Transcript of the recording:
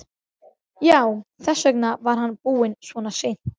Já, þess vegna var hann búinn svona seint.